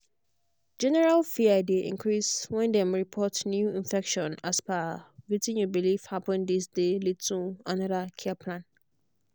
general fear dey increase when dem report new infection as per wetin you believe happenthis dey lead to another care plan.